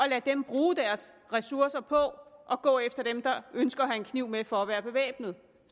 lade dem bruge deres ressourcer på at gå efter dem der ønsker at have en kniv med for at være bevæbnede